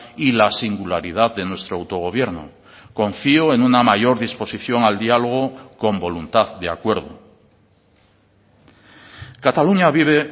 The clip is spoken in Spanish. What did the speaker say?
y la singularidad de nuestro autogobierno confío en una mayor disposición al diálogo con voluntad de acuerdo cataluña vive